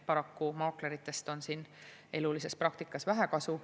Paraku maakleritest on elulises praktikas vähe kasu.